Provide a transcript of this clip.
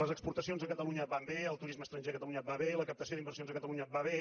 les exportacions a catalunya van bé el turisme estranger a catalunya va bé la captació d’inversions a catalunya va bé